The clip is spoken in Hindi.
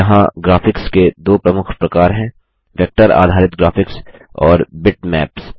यहाँ ग्राफिक्स के दो प्रमुख प्रकार हैं वेक्टर आधारित ग्राफिक्स और बिटमैप्स